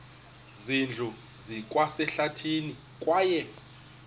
zindlu zikwasehlathini kwaye